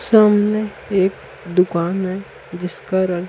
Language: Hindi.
सामने एक दुकान है जिसका रंग--